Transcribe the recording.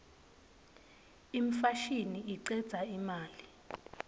imfashini icedza imali